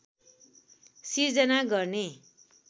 सिर्जना गर्ने